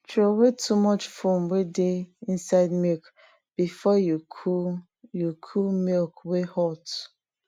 throway too much foam wey dey inside milk before you cool you cool milk wey hot